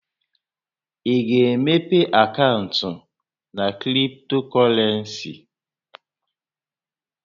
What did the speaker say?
Ị ga-emepe akaụntụ na kriptokọrensi?